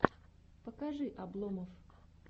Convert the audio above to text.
покажи обломов